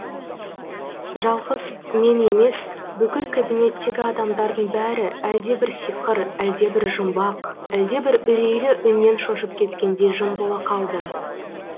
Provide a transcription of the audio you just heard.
жалғыз мен емес бүкіл кабинеттегі адамдардың бәрі әлдебір сиқыр әлдебір жұмбақ әлдебір үрейлі үннен шошып кеткендей жым бола қалды